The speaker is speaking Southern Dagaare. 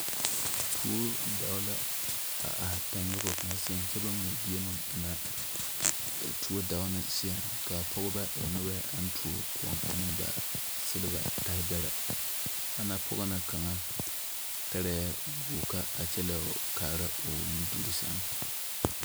Tuo daa la a are tanwogi kaŋa seɛ kyɛ baŋ mɛ gyie a tuo daao ne seɛ, ka pɔgeba e noba aŋ tuo kʋʋ an ba silibere tarre beɛre ana pɔge na kaŋa tare goka a kyɛ leɛ kaara o nuudur seŋ.